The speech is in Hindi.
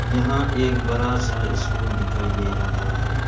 यहां एक बड़ा सा स्कूल दिखाई दे रहा है।